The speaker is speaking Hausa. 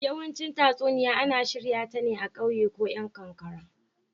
yawanci tatsuniya ana shirya ta a kauye ko yan kankara.